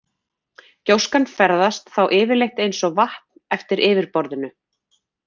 Gjóskan ferðast þá yfirleitt eins og vatn eftir yfirborðinu.